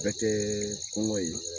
Bɛ kɛ kɔngɔ ye